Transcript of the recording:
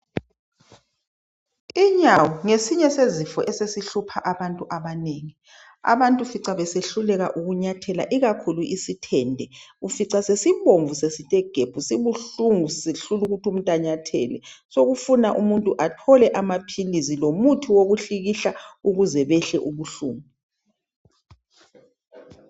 Inyawo ngesinye sezifo esesihlupha abantu abanengi. Abantu ufica besehluleka ukunyathela ikakhulu isithende ufica sesibomvu sesithe gebhu sibuhlungu sisehlula ukuthi umuntu anyathele. Sekufuna umuntu athole amaphilisi lomuthi wokuhlikihla ukuze behle ubuhlungu.